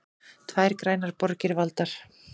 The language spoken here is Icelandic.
Tvær grænar borgir valdar